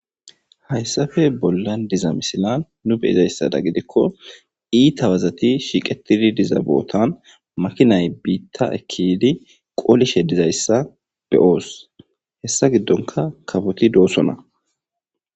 Hayssafe bollan diza misilan nu be7izayssada gidikko iitha wazathi shiqeththidi diza boothan makinay biiththa ekki yiidi qoolishe dizayssa be7oos; hessa giddonkka kafothi doosona.